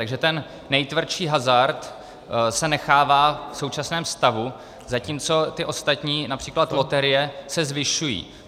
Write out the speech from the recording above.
Takže ten nejtvrdší hazard se nechává v současném stavu, zatímco ty ostatní, například loterie, se zvyšují.